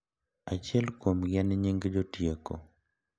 Achiel kuomgi en nying jotieko.